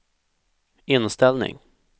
inställning